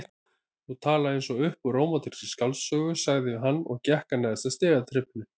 Þú talar eins og upp úr rómantískri skáldsögu sagði hann og gekk að neðsta stigaþrepinu.